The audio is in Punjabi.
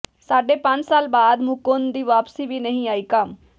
ਸਾਢੇ ਪੰਜ ਸਾਲ ਬਾਅਦ ਮੁਕੁੰਦ ਦੀ ਵਾਪਸੀ ਵੀ ਨਹੀਂ ਆਈ ਕੰਮ